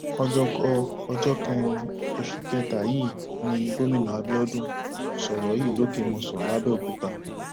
ọjọkọ ọjọ kẹrin oṣù kẹta yìí ni gómìnà abiodun sọrọ yìí lòkèmòsàn labẹọkútà